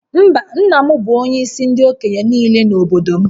Mba, nna m bụ onyeisi ndị okenye niile n’obodo m